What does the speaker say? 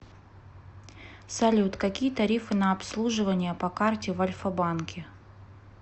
салют какие тарифы на обслуживание по карте в альфа банке